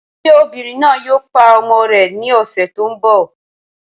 Ṣé obìnrin náà yòò pá ọmọ rè ní ọṣẹ̀ tí n bọ?